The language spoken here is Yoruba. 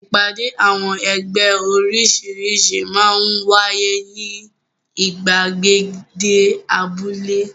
Ìpàdé àwọn ẹgbẹ́ oríṣiríṣi máa ń wáyé ní ìgbàgede abúlé.